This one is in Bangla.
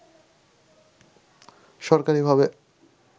সরকারী ভাবে